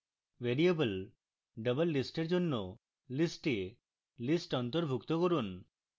variable doublelist এর জন্য list a list অন্তর্ভুক্ত করুন